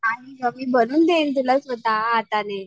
मी बनवून देईन तुला स्वतः हाताने.